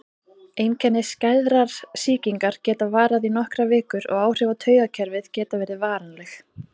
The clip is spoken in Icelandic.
Einkenni skæðrar sýkingar geta varað í nokkrar vikur og áhrif á taugakerfið geta verið varanleg.